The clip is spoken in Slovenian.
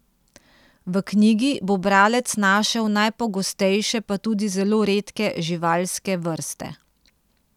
V knjigi bo bralec našel najpogostejše pa tudi zelo redke živalske vrste.